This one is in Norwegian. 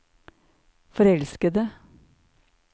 forelskede